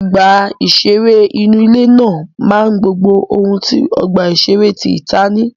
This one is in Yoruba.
Ọgbà ìṣẹré inú ilé náà máa gbogbo ohun tí ọ̀gbà ìṣeré tí tìta ní